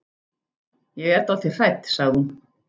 Ég er dáldið hrædd, sagði hún.